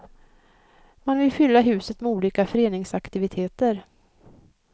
Man vill fylla huset med olika föreningsaktiviteter.